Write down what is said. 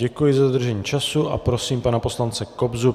Děkuji za dodržení času a prosím pana poslance Kobzu.